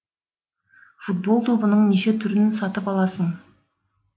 футбол добының неше түрін сатып аласың